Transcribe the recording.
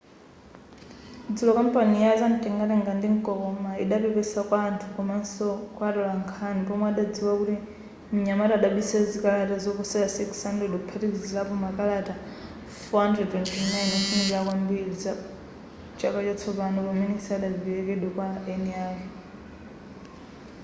dzulo kampani ya zamtengatenga ndi mtokoma idapepesa kwa anthu komaso kwa atolankhani pomwe adadziwa kuti mnyamata adabisa zikalata zoposa 600 kuphatikizapo makalata 429 ofunirana zabwino za chaka chatsopano amene sanaperekedwe kwa eni ake